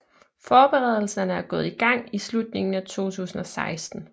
Forberedelerne er gået i gang i slutningen af 2016